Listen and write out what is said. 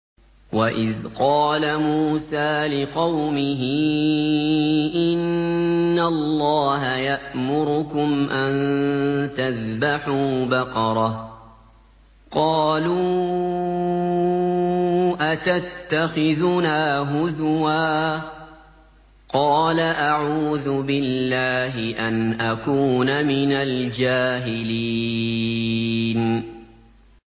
وَإِذْ قَالَ مُوسَىٰ لِقَوْمِهِ إِنَّ اللَّهَ يَأْمُرُكُمْ أَن تَذْبَحُوا بَقَرَةً ۖ قَالُوا أَتَتَّخِذُنَا هُزُوًا ۖ قَالَ أَعُوذُ بِاللَّهِ أَنْ أَكُونَ مِنَ الْجَاهِلِينَ